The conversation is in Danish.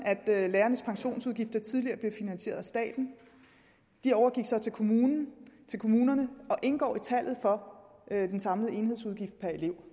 at lærernes pensionsudgifter tidligere blev finansieret af staten de overgik så til kommunerne kommunerne og indgår i tallet for den samlede enhedsudgift per elev